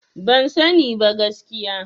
Ban sani ba gaskiya.